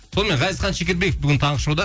сонымен ғазизхан шекербеков бүгін таңғы шоуда